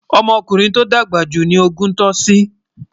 ọmọ ọkùnrin tó dàgbà jù ní ògún tosí ní ilè wón